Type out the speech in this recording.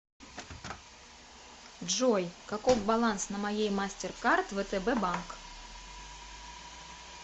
джой каков баланс на моей мастеркард втб банк